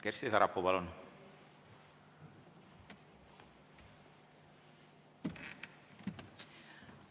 Kersti Sarapuu, palun!